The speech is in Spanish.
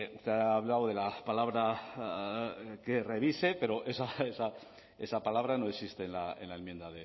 usted ha hablado de la palabra que revise pero esa palabra no existe en la enmienda